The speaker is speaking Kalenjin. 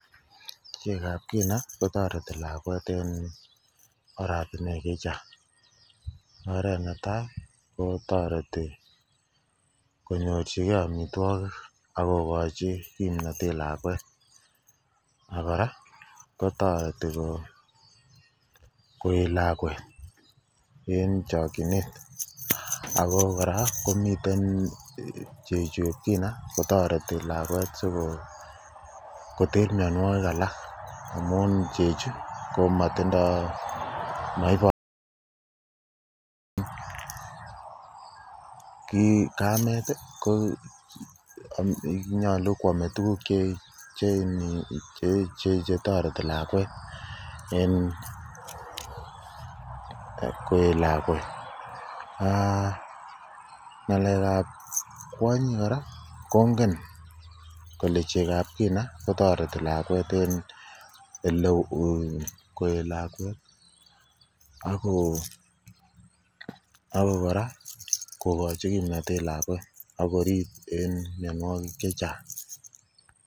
Chekab kina kotoreti lakwet eng oratunwek che chang oret netai ko toreti konyorchingei amitwokik akokochin kimnotet lakwet akora kotoreti koet lakwet eng chokchinet ako kora komiten chechupkina kotoreti lakwet sikoter mionwokik alak ko chechi komatindoi kamet ko nyolu koamei tukuuk chetoreti lakwet eng koet lakwet ng'alek ap kwonyik kora kongen kole chekap kina kotoreti lakwet en eleo koet lakwet ako kora kokochi kimnotet lakwet akorip eng mionwokik chechang